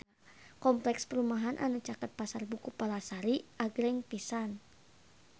Kompleks perumahan anu caket Pasar Buku Palasari agreng pisan